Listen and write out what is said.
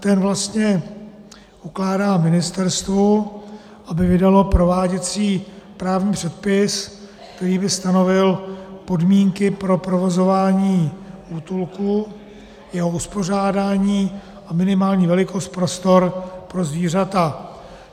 Ten vlastně ukládá ministerstvu, aby vydalo prováděcí právní předpis, který by stanovil podmínky pro provozování útulku, jeho uspořádání a minimální velikost, prostor pro zvířata.